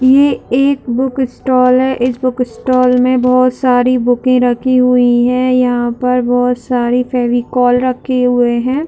ये एक book stall है इस बुक स्टाल में बहुत सारी बूके रखी हुई है यहाँ पर बहुत सारे फेविकोल रखी हुई है।